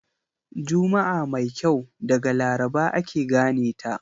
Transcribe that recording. Juma'a mai kyau daga Laraba ake gane ta.